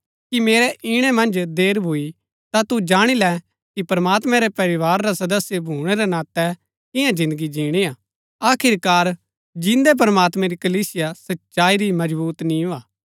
कि मेरै ईणै मन्ज देर भूई ता तू जाणी लै कि प्रमात्मैं रै परिवार रा सदस्य भूणै रै नातै किन्या जिन्दगी जिणी हा आखिरकार जिन्दै प्रमात्मैं री कलीसिया सच्चाई री मजबुत नींव हा